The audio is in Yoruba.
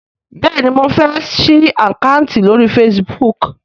béèni mọ fè sí Àkáùntì lórí Facebook.